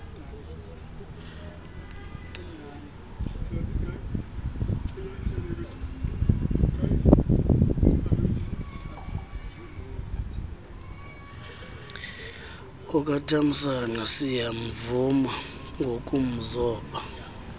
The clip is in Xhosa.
okatamsanqa siyamvuma ngokumzoba